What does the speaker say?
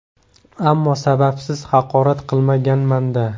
Ammo sababsiz haqorat qilmaganman-da.